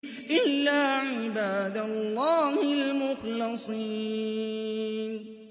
إِلَّا عِبَادَ اللَّهِ الْمُخْلَصِينَ